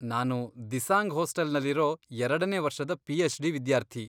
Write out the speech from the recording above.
ನಾನು ದಿಸಾಂಗ್ ಹಾಸ್ಟೆಲ್ನಲ್ಲಿರೋ ಎರಡನೇ ವರ್ಷದ ಪಿಎಚ್ಡಿ ವಿದ್ಯಾರ್ಥಿ.